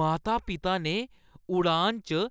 माता-पिता ने उड़ान च